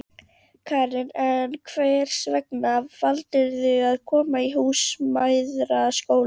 Karen: En hvers vegna valdirðu að koma í Húsmæðraskólann?